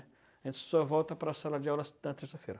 A gente só volta para a sala de aula na terça-feira.